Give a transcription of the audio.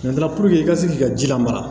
i ka se k'i ka ji lamara